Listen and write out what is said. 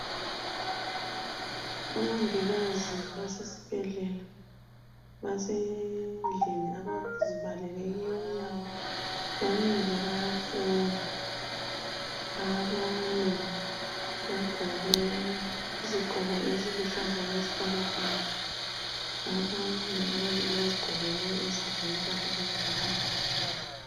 Omongikazi basesibhedlela basendlini abazibalele kiyo umnyango bamile bayafunda. Abane bagqoke izigqoko eziluhlaza okwesibhakabhaka abanye ababili bazigqokele ezabo impahla zangekhaya